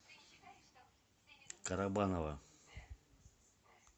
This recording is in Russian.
карабаново